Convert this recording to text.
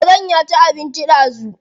Karen ya ci abinci ɗazu.